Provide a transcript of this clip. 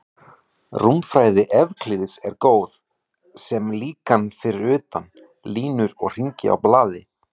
Rúmfræði Evklíðs er góð sem líkan fyrir punkta, línur og hringi á blaði.